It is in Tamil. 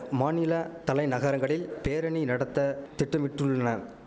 மாநில தலைநகரங்களில் பேரணி நடத்த திட்டமிட்டுள்ளுன